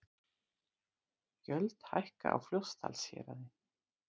Gjöld hækka á Fljótsdalshéraði